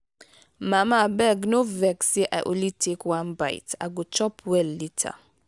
mama abeg no vex say i only take one bite. i go chop well later.